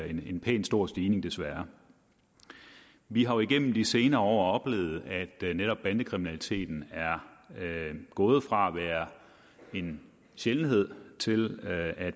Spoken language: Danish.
en pænt stor stigning desværre vi har jo igennem de senere år oplevet at netop bandekriminaliteten er gået fra at være en sjældenhed til at